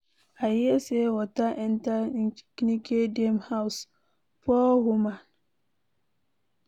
I hear say water enter Nkechi dem house, poor woman!